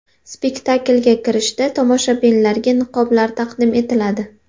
Spektaklga kirishda tomoshabinlarga niqoblar taqdim etiladi.